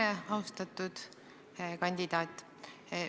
Tere, austatud kandidaat!